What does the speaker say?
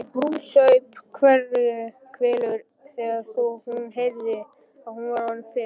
Saup hveljur þegar hún heyrði að hún var orðin fimm.